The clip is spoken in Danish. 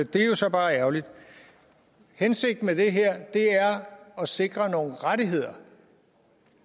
det er så bare ærgerligt hensigten med det her er at sikre nogle rettigheder